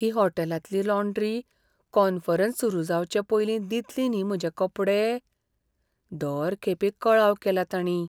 ही हॉटेलांतली laundry conference सुरू जावचे पयलीं दितली न्ही म्हजे कपडे? दर खेपे कळाव केला तांणी.